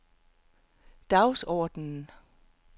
dagsordenen